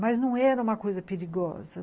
Mas não era uma coisa perigosa.